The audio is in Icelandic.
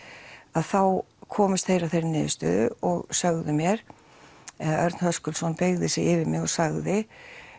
þá komust þeir að þeirri niðurstöðu og sögðu mér eða Örn Höskuldsson beygði sig yfir mig og sagði